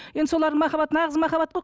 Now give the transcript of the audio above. енді солардың махаббаты нағыз махаббат қой